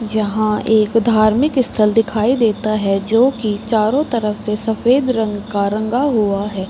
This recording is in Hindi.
यहाँ एक धार्मिक स्थल दिखाई देता है जो कि चारों तरफ से सफ़ेद रंग का रंगा हुआ है।